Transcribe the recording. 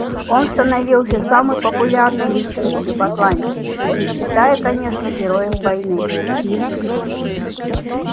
он становился самой популярной личностью в атланте не считая конечно героев войны